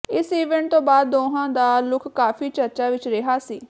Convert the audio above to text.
ਇਸ ਈਵੈਂਟ ਤੋਂ ਬਾਅਦ ਦੋਹਾਂ ਦਾ ਲੁਕ ਕਾਫੀ ਚਰਚਾ ਵਿੱਚ ਰਿਹਾ ਸੀ